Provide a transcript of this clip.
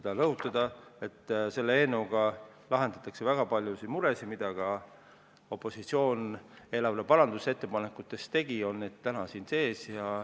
Tahan rõhutada, et selle eelnõuga lahendatakse väga paljud mured, mille kohta ka opositsioon riigieelarvesse parandusettepanekuid tegi – need on täna siin sees.